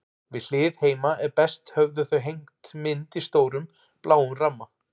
Við hlið heima er best höfðu þau hengt mynd í stórum, bláum ramma.